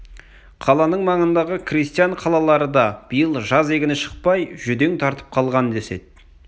қаланың маңындағы крестьян қалалары да биыл жаз егіні шықпай жүдең тартып қалған деседі